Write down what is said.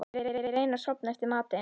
Ég reyni að sofna eftir matinn.